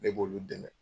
Ne b'olu dɛmɛ